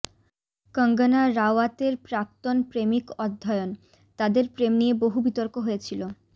কঙ্গনা রাওয়াতের প্রাক্তন প্রেমিক অধ্যয়ন তাদের প্রেম নিয়ে বহু বিতর্ক হয়েছিল